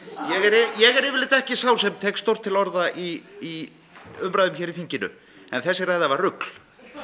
ég er yfirleitt ekki sá sem tek stórt til orða í umræðum hér í þinginu en þessi ræða var rugl